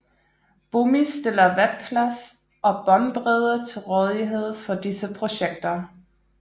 Bomis stiller webplads og båndbredde til rådighed for disse projekter